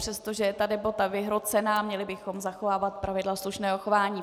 Přestože je ta debata vyhrocená, měli bychom zachovávat pravidla slušného chování.